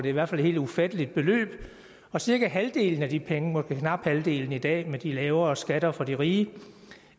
i hvert fald et helt ufatteligt beløb og cirka halvdelen af de penge måske knap halvdelen i dag med de lavere skatter fra de rige